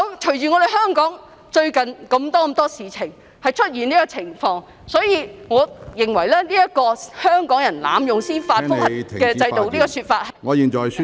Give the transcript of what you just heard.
隨着香港最近發生這麼多事情，出現這個情況，我認為香港人濫用......司法覆核制度的說法......